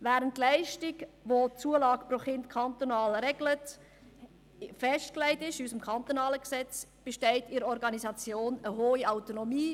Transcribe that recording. Während die Leistung, welche die Zulage pro Kind kantonal regelt, im kantonalen Gesetz festgelegt ist, besteht in der Organisation eine hohe Autonomie.